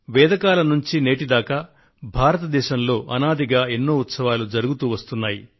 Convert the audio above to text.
వేద కాలం నుండి నేటి దాకా భారతదేశంలో అనాదిగా అనేక ఉత్సవాలు జరుగుతూ వస్తున్నాయి